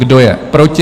Kdo je proti?